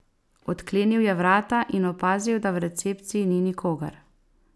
Odklenil je vrata in opazil, da v recepciji ni nikogar.